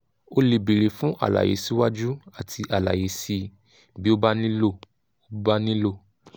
o lè béèrè fún àlàyé síwájú àti àlàyé síi bí ó bá nílò ó bá nílò